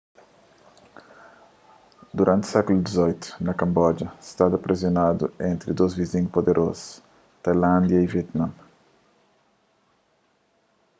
duranti sékulu xviii kamboja stada presionadu entri dôs vizinhus puderozu tailándia y vietname